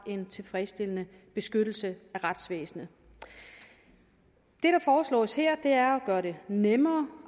en tilfredsstillende beskyttelse af retsvæsenet det der foreslås her er at gøre det nemmere